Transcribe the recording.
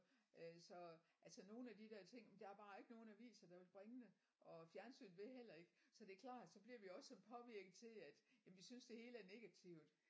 Øh så altså nogle af de der ting men der er bare ikke nogen aviser der vil bringe det og fjernsynet vil heller ikke så det er klart så bliver vi også så påvirket til at jamen vi synes det hele er negativt